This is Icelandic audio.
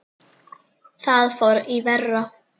Þar fór í verra.